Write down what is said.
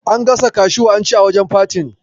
An gasa kashu an ci a wajen fatin.